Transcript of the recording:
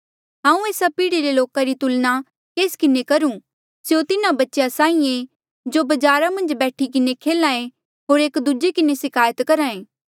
हांऊँ एस्सा पीढ़ी रे लोका री तुलना केस किन्हें करूं स्यों तिन्हा बच्चेया साहीं ऐें जो बजारा मन्झ बैठी किन्हें खेल्हा ऐें होर एक दूजे किन्हें सिकायत करहे